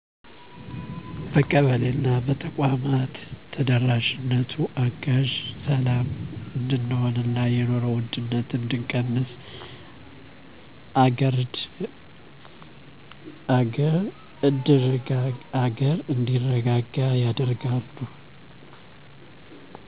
በቀበሌ እና በተቋማቶች ተደራሽነቱ አጋዥ ሰላም እድንሆን እና የኖሩወድነትን እድቀንስ አገርእድርጋጋ ያደርጋሉ